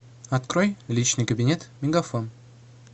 открой личный кабинет мегафон